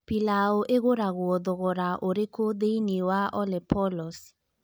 Pilau ĩgũragwo thogora ũrĩkũ thĩinĩ wa olepolos